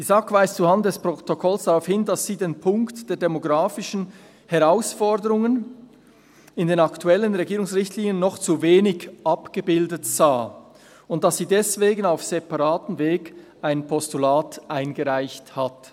Die SAK weist zuhanden des Protokolls darauf hin, dass sie den Punkt der demografischen Herausforderungen in den aktuellen Regierungsrichtlinien noch zu wenig abgebildet sah und dass sie deswegen auf separatem Weg ein Postulat eingereicht hat.